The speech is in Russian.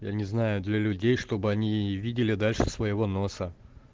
я не знаю для людей чтобы они видели дальше своего носа